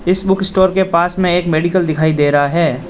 इस बुकस्टोर के पास में एक मेडिकल दिखाई दे रहा है।